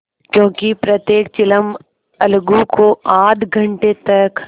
क्योंकि प्रत्येक चिलम अलगू को आध घंटे तक